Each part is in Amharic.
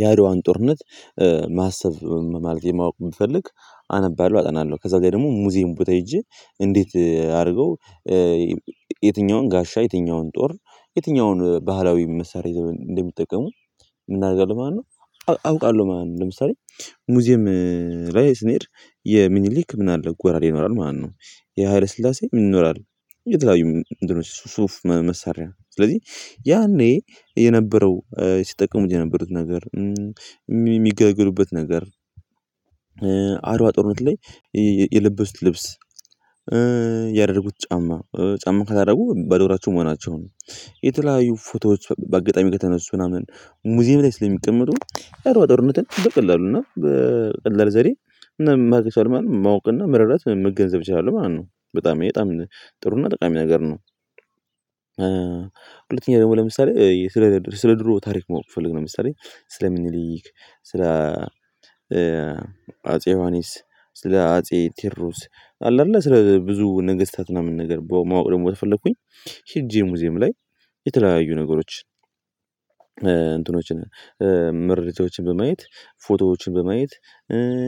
የአድዋን ጦርነት ማሰብ ማለት የማወቅ የምፈልግ አነባለሁ አጠናለሁ ከዛ ጋር ደግሞ ሙዚየም ቦታ ሄጄ እንዴት አድርገው የትኛውን ጋሻ የትኛውን ጦር የትኛውን ባህላዊ መሳሪያ ዘመን እንደሚጠቀሙ ምን አደርጋለሁ ማለት ነው አውቃለሁ ማለት ነው ለምሳሌ ሙዚየም ላይ ስንሄድ የሚኒሊክ ምን አለ ጎራዴ ይኖራል ማለት ነው የሃይለ ስላሴ ምን ይኖራል የተለያዩ ሱፍ መሳሪያ ነው ስለዚህ ያኔ የነበረው ሲጠቀሙ የነበሩት ነገር የሚገግሉበት ነገር አደዋ ጦርነት ላይ የለበሱት ልብስ ያደረጉት ጫማ ጫማ ከለደረጉ በዶ እግራቸው መሆናቸውን የተለያዩ ፎቶዎች በአጋጣሚ ከተነሱ ምናምን ሙዚየም ላይ ስለሚቀመጡ የአድዋ ጦርነትን በቀላሉ እና በቀላል ዘዴ ምን ማረግ ይችላሉ ማለት ነው፤ ማወቅና መረዳት ወይም መገንዘብ ይችላሉ ማለት ነው። በጣም ይሄ ጥሩና ጠቃሚ ነገር ነው። ደግሞ ለምሳሌ ስለ ስለ ድሮ ታሪክ ማወቅ ብፈልግ፤ ለምሳሌ ስለ ሚኒሊክ፣ ስለ አጼ ዮሐንስ፣ ስለ አጼ ቴዎድሮስ አለ አይደለ ስለ ብዙ ነግስታት ምናምን ነገር ማወቅ ደግሞ ከፈለኩኝ፤ ሄጄ ሙዚየም ላይ የተለያዩ ነገሮች እንትኖችን ምርቶችን በማየት፣ ፎቶዎችን በማየት፣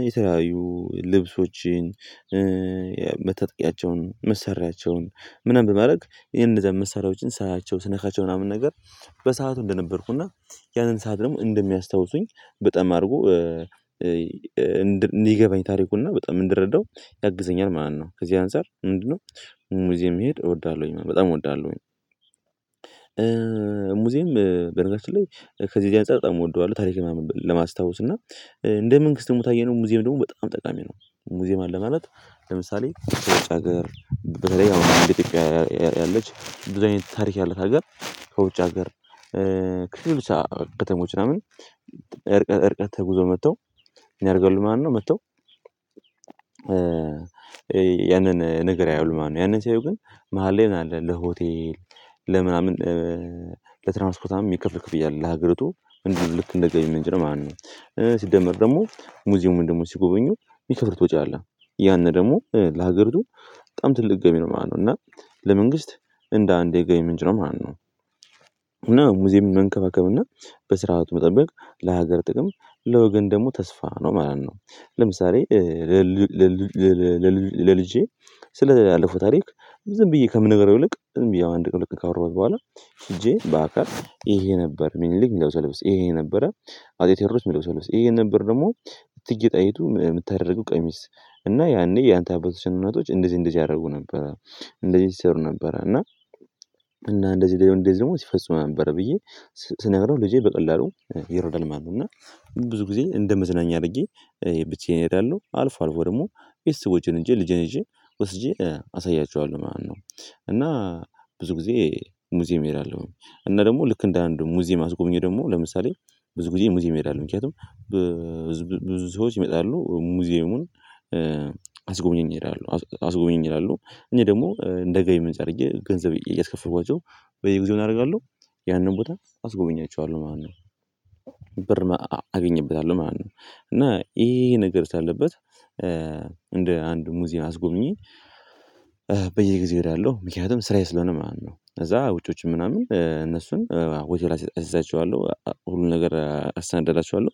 የተለያዩ ልብሶችን መታጠቂያቸውን፣ መሳሪያቸውን ምናምን በማድረግ ይሄን እነዛን መሳሪያዎችን ሳያቸው፣ ስነካቸው ምናምን ነገር በሰአቱ እንደነበርኩና፤ ያንን ሰዓት ደግሞ እንደሚያስታውሱኝ በጣም አድርጎ እንዲገባኝ ታሪኩና በጣም እንድረዳው ያግዘኛል ማለት ነው። ከዚህ አንፃር ምንድነው ሙዚየም መሄድ እወዳለሁኝ። በጣም እወዳለሁኝ። ሙዚየም በነገራችን ላይ ከዚህ እዚህ አንፃር በጣም እወደዋለሁ። ታሪክ ምናምን ለማስታወስ እና እንደ መንግስት ደግሞ ካየነው ሙዚየም ደግሞ በጣም ጠቃሚ ነው። ሙዚየም አለ ማለት ለምሳሌ ከውጭ ሀገር በተለይ አሁን እንደ ኢትዮጵያ ያለች ታሪክ ያላት ሀገር ከውጭ ሀገር ከሌሎች ከተሞች ምናምን እርቀት እርቀት ተጉዘው መጥተው ምን ያረጋሉ ማለት ነው መጥተው ያንን ነገር ያያሉ ማለት ነው። ያንን ሰያዩ ግን መሃል ላይ ምን አለ ለሆቴል ለምናምን ለትራንስፖርት ምናምን የሚከፈል ክፍያ አለ። ለሀገሪቱ እንድ ልክ አንደ ገቢ ምንጭ ነው ማለት ነው። ሲደመር ደግሞ ሙዚየሙን ደግሞ ሲጎበኙ የሚከፍሉት ወጪ አለ። ያንን ደግሞ ለሀገሪቱ በጣም ትልቅ ገቢ ነው ማለት ነው። እና ለመንግስት እንደ አንድ የገቢ ምንጭ ነው ማለት ነው። እና ሙዚየምን መንከባከብ እና በስርዓቱ መጠበቅ ለሀገር ጥቅም ለወገን ደግሞ ተስፋ ነው ማለት ነው። ለምሳሌ ለልጄ ስላለፈው ታሪክ ዝም ብዬ ከምነግረው ይልቅ፤ ዝም ብዬ አንድ ቀን ሁለት ቀን ካወራሁት በኋላ፤ ሄጄ በአካል ይሄ ነበር ሚኒሊክ የሚለብሰው ልብስ፤ ይሄ ነበረ አጼ ቴዎድሮስ የሚለብሰው ልብስ፤ ይሄ ነበር ደግሞ እቴጌ ጣይቱ የምታደርገው ቀሚስ። እና ያኔ ያንተ አባቶችና እናቶች እንደዚህ እንደዚህ ያደርጉ ነበር። እንደዚህ ይሰሩ ነበር እና እና እንደዚህ ደሞ እንደዚህ ደግሞ ሲፈጽሙ ነበር ብዬ ስነግረው ልጄ በቀላሉ ይረዳል ማለት ነው። እና ብዙ ጊዜ እንደመዝናኛ አድርጌ ብቻዬን እሄዳለሁ። አልፎ አልፎ ደግሞ ቤቸሰቦቼን ይዤ ልጄን ይዤ ወስጄ አሳያቸዋለሁ ማለት ነው። እና ብዙ ጊዜ ሙዚየም እሄዳለሁ። እና ደግሞ ልክ እንደ አንዱ ሙዚየም አስጎብኚ ደግሞ ለምሳሌ ብዙ ጊዜ ሙዚየም እሄዳለሁ። ምክንያቱም ብዙ ሰዎች ይመጣሉ ሙዚየሙን አስጎብኘኝ ይላሉ። እኔ ደግሞ እንደ ገቢ ምንጭ አድርጌ ገንዘብ እያስከፈልኳቸው በየጊዜው ምን አረጋለሁ? ያንን ቦታ አስጎበኛቸዋለሁ ማለት ነው። ብር አገኝበታለሁ ማለት ነው። እና ይሄ ይሄ ነገር ስላለበት እንደ አንድ ሙዚየም አስጎብኚ በየጊዜው እሄዳለሁ። ምክንያቱም ስራዬ ስለሆነ ማለት ነው። ከዛ ውጪዎችም ምናምን እነሱን ሆቴል አስይዛቸዋለሁ ሁሉን ነገር አሰናዳላቸዋለሁ።